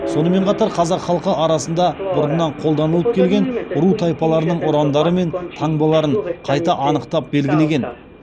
сонымен қатар қазақ халқы арасында бұрыннан қолданылып келген ру тайпалардың ұрандары мен таңбаларын қайта анықтап белгілеген